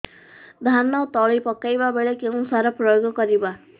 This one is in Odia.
ଧାନ ତଳି ପକାଇବା ବେଳେ କେଉଁ ସାର ପ୍ରୟୋଗ କରିବା